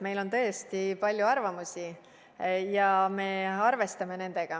Meil on tõesti palju arvamusi ja me arvestame nendega.